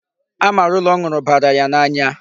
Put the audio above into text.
Amarula ọ nụrụ bara ya n'anya.